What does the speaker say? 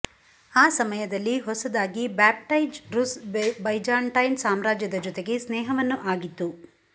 ಆ ಸಮಯದಲ್ಲಿ ಹೊಸದಾಗಿ ಬ್ಯಾಪ್ಟೈಜ್ ರುಸ್ ಬೈಜಾಂಟೈನ್ ಸಾಮ್ರಾಜ್ಯದ ಜೊತೆಗೆ ಸ್ನೇಹವನ್ನು ಆಗಿತ್ತು